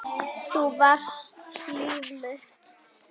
Þú varst líf mitt.